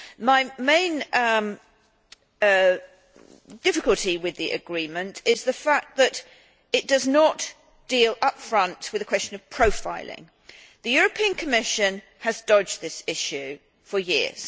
My main difficulty with the agreement is the fact that it does not deal up front with the question of profiling. The European Commission has dodged this issue for years.